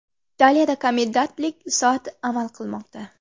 Italiyada komendantlik soati amal qilmoqda.